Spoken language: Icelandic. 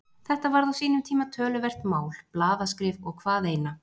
Þetta varð á sínum tíma töluvert mál, blaðaskrif og hvað eina.